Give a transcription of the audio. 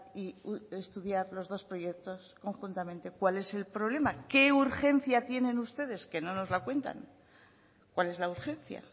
y estudiar los dos proyectos conjuntamente cuál es el problema qué urgencia tienen ustedes que no nos la cuentan cuál es la urgencia